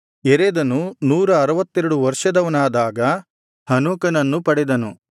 ಯೆರೆದನು ನೂರ ಅರುವತ್ತೆರಡು ವರ್ಷದವನಾದಾಗ ಹನೋಕನನ್ನು ಪಡೆದನು